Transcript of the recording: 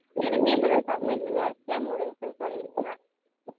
எனக்கும் இப்ப தான் submission work லாம் முடிஞ்சிருச்சன்னு சொல்லி இருந்தேன்